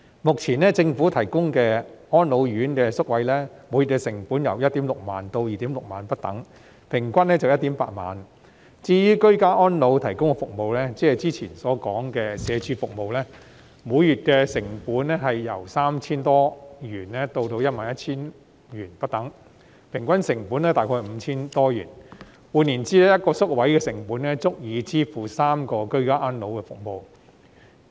目前政府提供的安老院舍宿位，每月成本由 16,000 元至 26,000 元不等，平均約為 18,000 元；至於居家安老服務，即之前所說社會福利署提供的服務，每月成本由約 3,000 多元至 11,000 元不等，平均成本約為 5,000 多元；換言之 ，1 個宿位的成本足以支付3項居家安老服務。